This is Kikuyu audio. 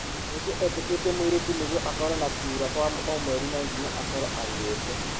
Cucu etĩkĩtie mũirĩtu nĩgũo akoro na kura kwa o mweri no ginya akoro aruĩte.